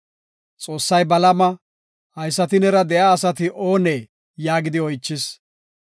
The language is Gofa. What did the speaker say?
Xoossay Balaama, “Haysati neera de7iya asati oonee?” yaagidi oychis.